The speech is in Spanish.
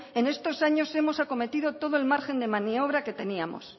en estos años hemos acometido todo el margen de maniobra que teníamos